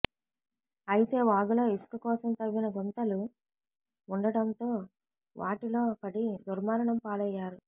అయితే వాగులో ఇసుక కోసం తవ్విన గుంతలు ఉండటంతో వాటిలో పడి దుర్మరణం పాలయ్యారు